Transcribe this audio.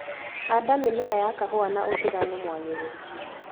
Handa mĩmera ya kahũa na ũtiganu mwagĩrĩru.